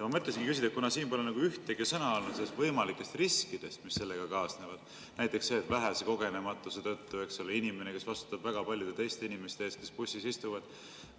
Ma mõtlesingi küsida, et kuna siin pole ühtegi sõna olnud võimalikest riskidest, mis sellega kaasnevad – näiteks see, et vähese kogenematuse tõttu, eks ole, inimene, kes vastutab väga paljude teiste inimeste eest, kes bussis istuvad,